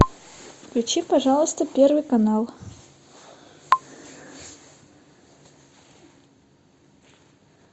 включи пожалуйста первый канал